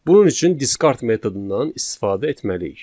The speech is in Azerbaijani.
Bunun üçün discard metodundan istifadə etməliyik.